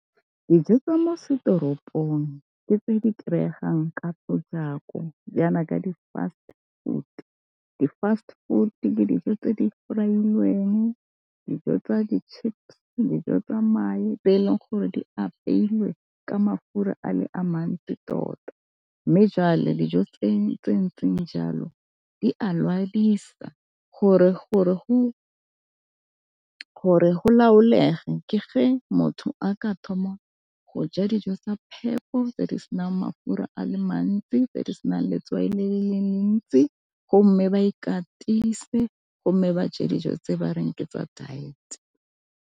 Dijo tsa mo setoropong ke tse di kry-egang ka potlako, ka di-fast food. Di-fast food ke dijo tse di fry-ilweng, dijo tsa di chips, dijo tsa mae, tse e leng gore di apeilwe ka mafura a le a mantsi tota. Mme jwale dijo tse ntseng jalo di a le lwadisa. Gore go laolega ke ge motho a ka thoma go ja dijo sa phepho tse di senang mafura a le mantsi, tse di senang letswai le le le ntsi, go mme ba ikatise, go mme ba je dijo tse ba reng ke tsa diet.